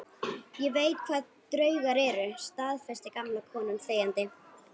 Ég veit hvað draugar eru, staðfesti gamla konan þegjandi.